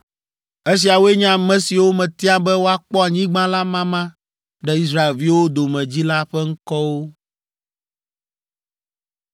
Esiawoe nye ame siwo metia be woakpɔ anyigba la mama ɖe Israelviwo dome dzi la ƒe ŋkɔwo.